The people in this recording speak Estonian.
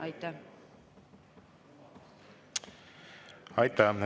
Aitäh!